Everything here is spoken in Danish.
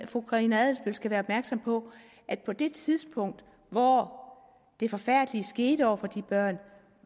fru karina adsbøl skal være opmærksom på at på det tidspunkt hvor det forfærdelige skete over for de børn